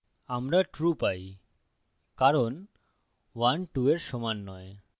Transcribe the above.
আমরা true পাই কারণ 12 we সমান নয়